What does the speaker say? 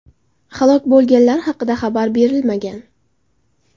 Halok bo‘lganlar haqida xabar berilmagan.